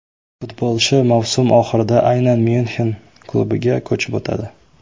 Futbolchi mavsum oxirida aynan Myunxen klubiga ko‘chib o‘tadi.